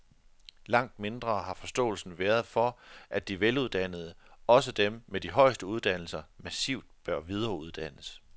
Langt mindre har forståelsen været for, at de veluddannede, også dem med de højeste uddannelser, massivt bør videreuddannes.